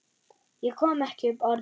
Ég kom ekki upp orði.